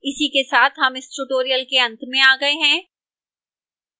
इसी के साथ हम इस tutorial के अंत में आ गए हैं